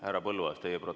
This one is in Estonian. Härra Põlluaas!